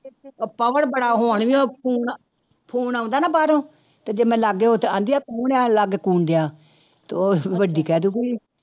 ਪਵਨ ਬੜਾ ਉਹ ਨੀ ਉਹ ਫ਼ੋ phone ਆਉਂਦਾ ਨਾ ਬਾਹਰੋਂ ਤੇ ਜੇ ਮੈਂ ਲਾਗੇ ਹੋ ਤੇ ਕਹਿੰਦੀ ਹੈ ਲਾਗੇ ਤੇ ਉਹ ਵੱਡੀ ਕਹਿ ਦਊਗੀ